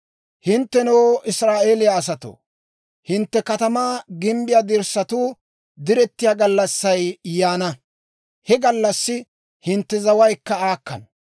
Hinttenoo, Israa'eeliyaa asatoo, hintte katamaa gimbbiyaa dirssatuu direttiyaa gallassay yaana; he gallassi hintte zawaykka aakkana.